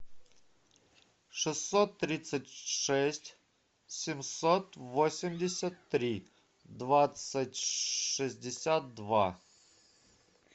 шестьсот тридцать шесть семьсот восемьдесят три двадцать шестьдесят два